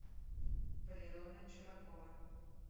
валерона чуракова